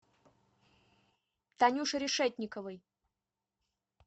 танюше решетниковой